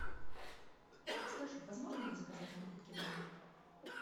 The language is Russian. подскажи возможно ли заказать напитки в номер